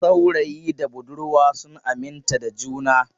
Saurayi da budurwa sun aminta da juna.